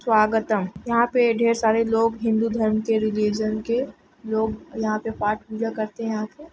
स्वागतम यहाँ पे ढेर सारे लोग हिन्दू धर्म के रिलिजन के लोग यहाँ पे पाठ पूजा करते है आके ।